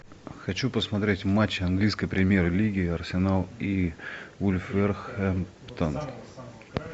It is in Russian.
хочу посмотреть матч английской премьер лиги арсенал и вулверхэмптон